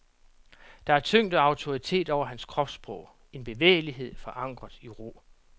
Der er tyngde og autoritet over hans kropssprog, en bevægelighed forankret i ro.